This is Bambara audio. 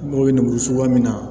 N mago bɛ nin foro min na